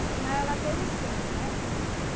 Afinal, ela teve cinco, né?